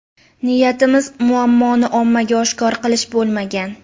Niyatimiz muammoni ommaga oshkor qilish bo‘lmagan.